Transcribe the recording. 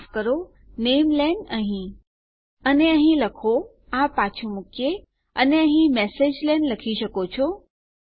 માફ કરો નામેલેન અહીં અને અહીં લખો આ પાછું મુકીએ અને અહીં મેસેજલેન લખી શકો છો